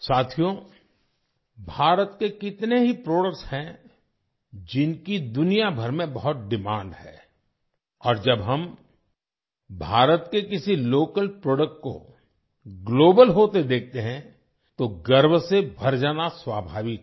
साथियो भारत के कितने ही प्रोडक्ट्स हैं जिनकी दुनिया भर में बहुत डिमांड है और जब हम भारत के किसी लोकल प्रोडक्ट को ग्लोबल होते देखते हैं तो गर्व से भर जाना स्वाभाविक है